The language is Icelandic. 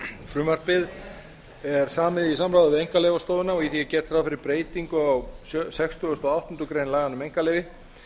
frumvarpið er samið í samráði við einkaleyfastofuna og í því er gert ráð fyrir breytingu á sextugasta og áttundu grein laganna um einkaleyfi